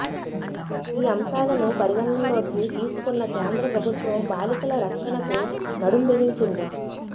ఈ అంశాలను పరిగణనలోకి తీసుకున్న కేంద్ర ప్రభుత్వం బాలికల రక్షణకు నడుం బిగించింది